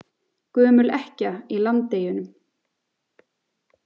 Gömul ekkja í Landeyjunum.